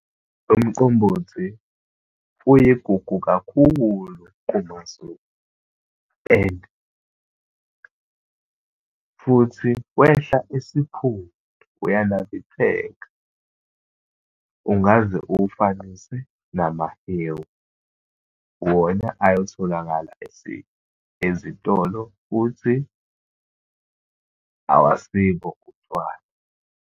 Umqombothi uyigugu kakhulu kumaZulu and futhi wehla esiphundu, uyanambitheka. Ungaze uwufananise namahewu, wona ayotholakala ezitolo, futhi awusibo utshwala